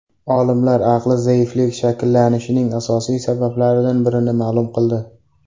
Olimlar aqli zaiflik shakllanishining asosiy sabablaridan birini ma’lum qildi.